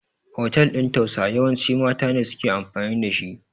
hotel ɗin tausa yawanci mata ne suke amfani da shi